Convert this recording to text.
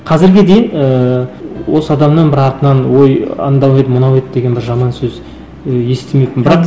қазірге дейін ыыы осы адамнан бір артынан ой еді мынау еді деген бір жаман сөз ы естімеппін бірақ